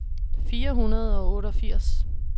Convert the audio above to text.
fire hundrede og otteogfirs